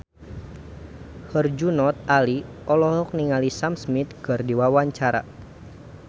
Herjunot Ali olohok ningali Sam Smith keur diwawancara